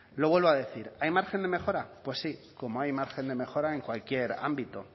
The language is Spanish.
lo vuelvo a decir hay margen de mejora pues sí como hay margen de mejora en cualquier ámbito